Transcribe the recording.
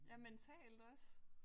Ja mentalt også